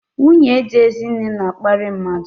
Nwunye dị Ezinne na-akparị mmadụ.